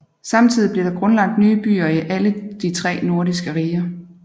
Samtidigt blev der grundlagt nye byer i alle de tre nordiske riger